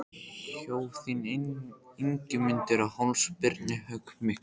Hjó þá Ingimundur á háls Birni höggi miklu.